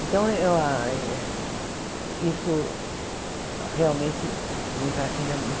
Então, eu a isso realmente me fascina muito.